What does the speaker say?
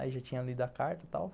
Aí já tinha lido a carta e tal.